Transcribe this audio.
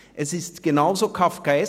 Es ist genauso kafkaesk.